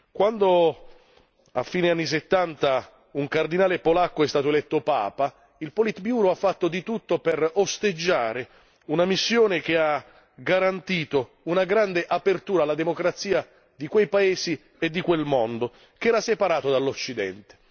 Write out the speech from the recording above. Quando a fine anni '70 un cardinale polacco è stato eletto Papa, il politbureau ha fatto di tutto per osteggiare una missione che ha garantito una grande apertura alla democrazia di quei paesi e di quel mondo, che era separato dall'Occidente.